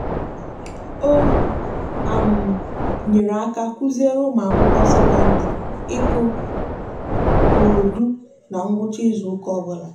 o nyere aka kụziere ụmụakwụkwọ sekondịrị ịkụ koodu na ngwụcha izuụka ọbụla.